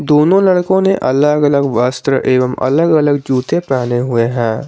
दोनों लड़कों ने अलग अलग वस्त्र एवं अलग अलग जूते पहने हुए है।